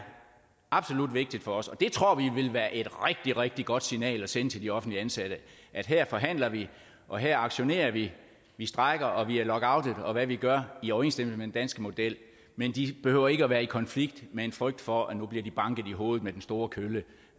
absolut vigtigt for os og det tror vi vil være et rigtig rigtig godt signal at sende til de offentligt ansatte at her forhandler vi og her aktionerer vi vi strejker og vi er lockoutet og hvad vi nu gør i overensstemmelse med den danske model men de behøver ikke at være i konflikt med en frygt for at nu bliver de banket i hovedet med den store kølle